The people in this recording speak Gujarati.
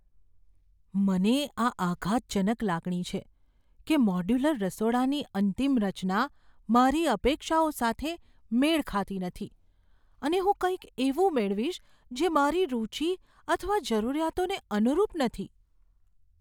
મને આ આઘાતજનક લાગણી છે કે મોડ્યુલર રસોડાની અંતિમ રચના મારી અપેક્ષાઓ સાથે મેળ ખાતી નથી, અને હું કંઈક એવું મેળવીશ જે મારી રુચિ અથવા જરૂરિયાતોને અનુરૂપ નથી.